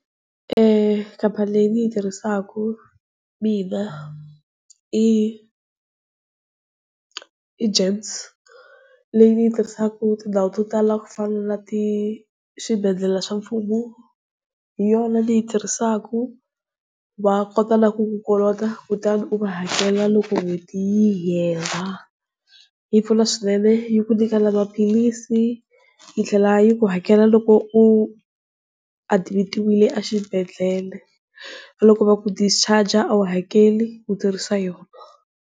Khamphani leyi ni yi tirhisaka mina i i James, leyi ni yi tirhisaka tindhawu to tala ku fana na ti swibedhlele swa mfumo hi yona ni yi tirhisaka va kota na ku ku kolota kutani u va hakela loko n'hweti yi hela. Yi pfuna swinene yi ku nyika na maphilisi, yi tlhela yi ku hakela loko u admit-iwile a xibedhlele na loko va ku discharge a wu hakeli u tirhisa yona.